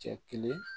Cɛ kelen